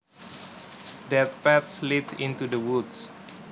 That path leads into the woods